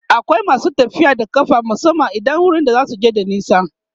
akwai masu tafiya a ƙafa musamman idan wurin da zasuje bashi da nisa